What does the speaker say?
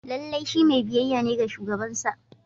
Lallai shi mai biyayya ne ga shugabansa